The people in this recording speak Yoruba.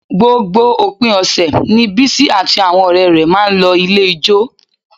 Gbogbo òpin ọ̀sẹ̀ ni Bísí àti àwọn ọ̀rẹ́ rẹ̀ máa ń lọ ilé ijó